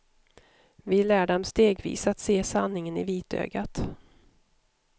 Vi lär dem stegvis att se sanningen i vitögat.